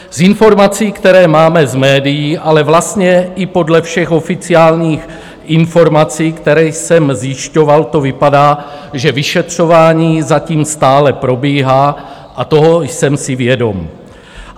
Z informací, které máme z médií, ale vlastně i podle všech oficiálních informací, které jsem zjišťoval, to vypadá, že vyšetřování zatím stále probíhá, a toho jsem si vědom.